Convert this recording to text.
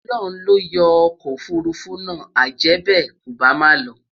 Ọlọhun loyo okò òfurufú nà, ajèbe, kò bá má ló